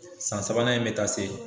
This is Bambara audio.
San sabanan in bɛ taa se .